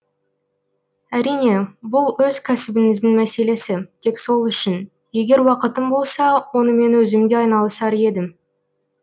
әрине бұл өз кәсібіңіздің мәселесі тек сол үшін егер уақытым болса онымен өзім де айналысар едім